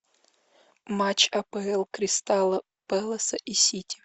матч апл кристал пэласа и сити